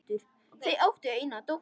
Þau áttu eina dóttur.